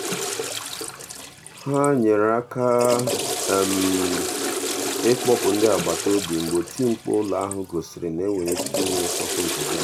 ha nyere aka ịkpọpụ ndị agbataobi mgbe oti mkpu ụlọ ahụ gosiri na e nwere ike inwe nsọpụ nke gas.